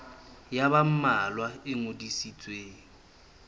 ya ba mmalwa e ngodisitsweng